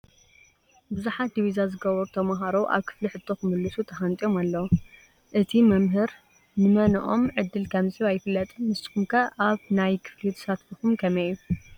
ብዙሓት ዲቪዛ ዝገበሩ ተምሃሮ ኣብ ክፍሊ ሕቶ ክምልሱ ተሃንጢዮም ኣለው፡፡ እቲ መምህር ንመነኦም ዕድል ከምዝህብ ኣይፍለጥን፡፡ ንስኹም ከ ኣብ ናይ ክፍሊ ተሳትፎኹም ከመይ እያ?